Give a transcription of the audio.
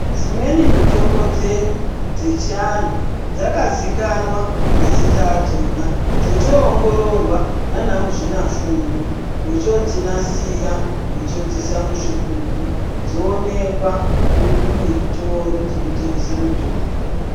Dzimweni mitombo dzedu dzechiantu dzakazikanwa mazita adzona dzochoongororwa navanamuzvinafundo vochodzinasira vochoodziisa muzvigubhu dzoonekwa muzvitoro zvinotengese mitombo.